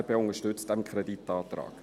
Die FDP unterstützt diesen Kreditantrag.